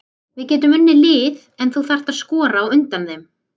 Við getum unnið lið en þú þarft að skora á undan þeim.